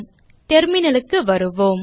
terminal க்கு வருவோம்